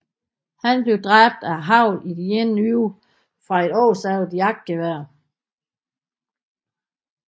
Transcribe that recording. Han blev dræbt af hagl i det ene øje fra et oversavet jagtgevær